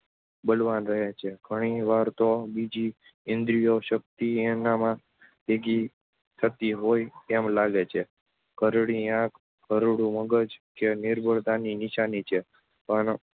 બળવાન રહે છે. ઘણી વાર તો બીજી ઇન્દ્રિયો શક્તિ એનામાં ભેગી થતી હોય એમ લાગે છે. ઘરડી આંખ, ઘરડું મગજ-એ નિર્બળતાની નિશાની છે. પણ